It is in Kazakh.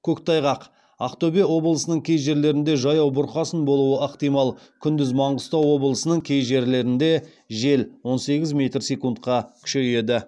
көктайғақ ақтөбе облысының кей жерлерінде жаяу бұрқасын болуы ықтимал күндіз маңғыстау облысының кей жерлерінде жел он сегіз метр секундқа күшейеді